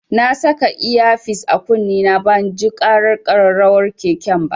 Na saka iya fis a kunne na banji ƙarar ƙararrawar keken ba.